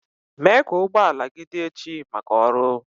Mee ka ụgbọ ala gị dị echi maka ọrụ.